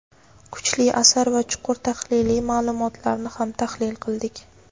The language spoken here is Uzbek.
kuchli asar va chuqur tahliliy ma’lumotlarni ham tahlil qildik.